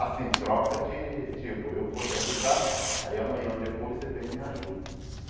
Assim, troca de, tipo, eu vou te ajudar, aí amanhã ou depois você vem e me ajuda.